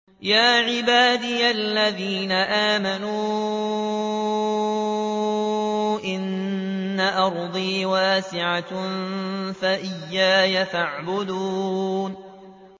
يَا عِبَادِيَ الَّذِينَ آمَنُوا إِنَّ أَرْضِي وَاسِعَةٌ فَإِيَّايَ فَاعْبُدُونِ